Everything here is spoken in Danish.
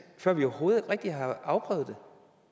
før vi overhovedet rigtig har afprøvet